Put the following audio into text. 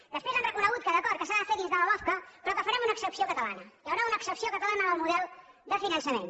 després han reconegut que d’acord que s’ha de fer dins de la lofca però que farem una excepció catalana hi haurà una excepció catalana del model de finançament